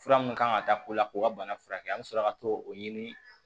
Fura mun kan ka ta ko la k'o ka bana furakɛ an mi sɔrɔ ka t'o ɲini